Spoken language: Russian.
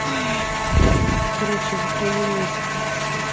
короче затравила я тебе душу